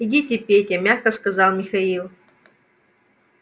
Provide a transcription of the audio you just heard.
идите петя мягко сказал михаил